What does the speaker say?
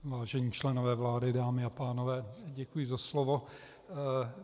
Vážení členové vlády, dámy a pánové, děkuji za slovo.